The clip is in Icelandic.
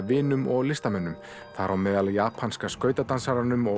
vinum og listamönnum þar á meðal japanska skautadansaranum og